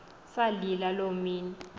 salila loo mini